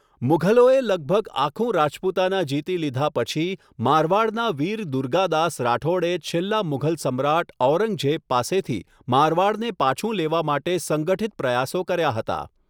મુઘલોએ લગભગ આખું રાજપૂતાના જીતી લીધા પછી, મારવાડનાં વીર દુર્ગાદાસ રાઠોડે છેલ્લા મુઘલ સમ્રાટ ઔરંગઝેબ પાસેથી મારવાડને પાછું લેવા માટે સંગઠિત પ્રયાસો કર્યા હતા.